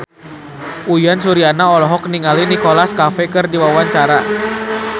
Uyan Suryana olohok ningali Nicholas Cafe keur diwawancara